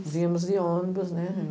Vimos de ônibus, né?